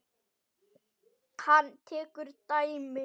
Hann tekur dæmi.